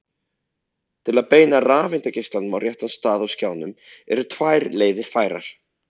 til að beina rafeindageislanum á réttan stað á skjánum eru tvær leiðir færar